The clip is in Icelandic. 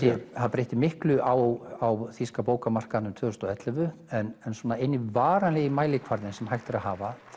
breytti miklu á þýska bókamarkaðinum tvö þúsund og ellefu en eini varanlegi mælikvarðinn sem hægt er að hafa